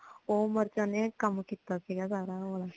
ਓ ਉਮਰ ਚ ਓਨੇ ਕਮ ਕੀਤਾ ਸੀਗਾ ਸਾਰਾ ਓਲਾ